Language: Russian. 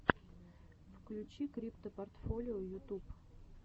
включи криптопортфолио ютуб